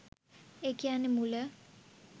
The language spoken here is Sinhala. ඒ කියන්නේ මුල.